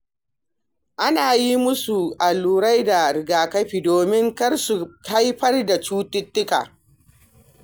Ana yi musu allurai da rigakafi domin kar su haifar da cututtuka.